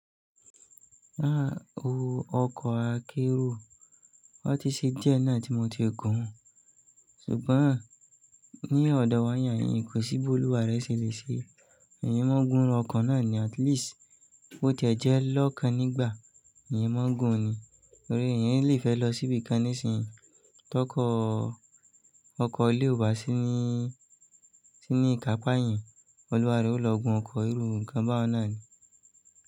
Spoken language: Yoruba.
Ah! Ọkọ̀ akérò, ó ti ṣe díẹ̀ náà tí mo ti gùn ún. Ṣùgbọ́n ní ọ̀dọ̀ wà niàyín kò sí b'olúwa rẹ ṣe lè ṣe é. Èèyàn má n gun ọkọ̀ náà ni at least bó ti ẹ̀ jẹ́ lọ́kan nígbà, èèyàn má n gun ni. Torí èèyàn le fe lo si bikan nísìnyí. Tọkọ̀ ọkọ̀ lé wá sí ní, sí ní ìkápá èèyàn, Olúwa rẹ ó lọ gun ọkọ̀ èrò ńkan báun náà ni.